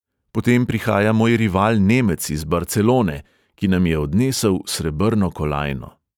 Potem prihaja moj rival nemec iz barcelone, ki nam je odnesel srebrno kolajno.